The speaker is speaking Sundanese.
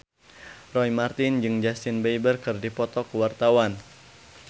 Roy Marten jeung Justin Beiber keur dipoto ku wartawan